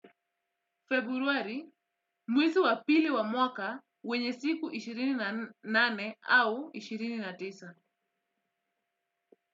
Februari, mwezi wa pili wa mwaka wenye siku ishirini na nane au ishirini na tisa.